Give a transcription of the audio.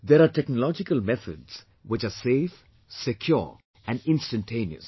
There are technological methods which are safe, secure and instantaneous